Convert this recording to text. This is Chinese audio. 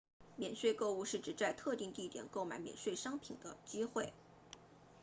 免税购物是指在特定地点购买免税商品的机会